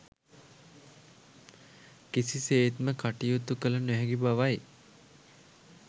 කිසිසේත්ම කටයුතු කළ නොහැකි බවයි.